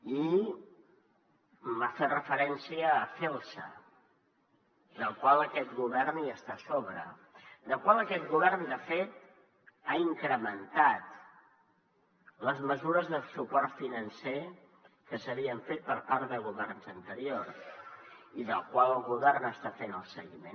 i ha fet referència a celsa de la qual aquest govern hi està a sobre en la qual aquest govern de fet ha incrementat les mesures de suport financer que s’havien fet per part de governs anteriors i de la qual el govern està fent el seguiment